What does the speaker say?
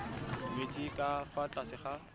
nyetswe ka fa tlase ga